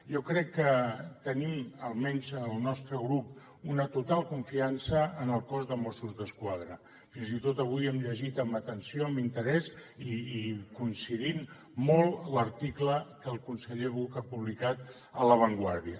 jo crec que tenim almenys al nostre grup una total confiança en el cos de mossos d’esquadra fins i tot avui hem llegit amb atenció amb interès i coincidint hi molt l’article que el conseller buch ha publicat a la vanguardia